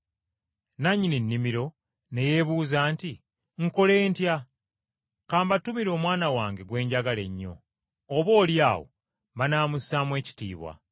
“Nannyini nnimiro ne yeebuuza nti, ‘Nkole ntya? Ka mbatumire omwana wange gwe njagala ennyo, oboolyawo banaamussaamu ekitiibwa.’